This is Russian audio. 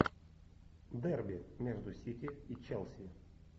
дерби между сити и челси